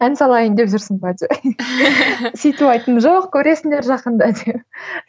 ән салайын деп жүрсің бе деп сөйтіп айттым жоқ көресіңдер жақында деп